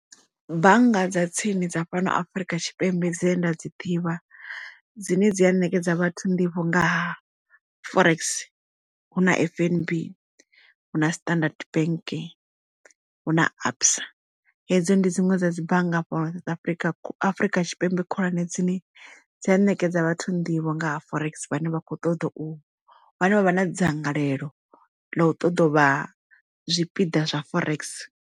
Bannga dza tsini dza fhano afrika tshipembe dzine nda dzi ḓivha dzine dzi a ṋekedza vhathu nḓivho nga ha forex hu na F_N_B hu na standard bank hu na absa hedzo ndi dziṅwe dza dzi bannga fhano afrika afrika tshipembe khulwane dzine dza ṋekedza vhathu nḓivho nga ha forex vhane vha kho ṱoḓa u vhane vha vha na dzangalelo ḽa u ṱoḓa uvha zwipiḓa zwa forex.